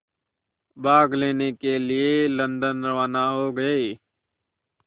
भाग लेने के लिए लंदन रवाना हो गए